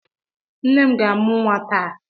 Nne m ga-amụ nwa taa.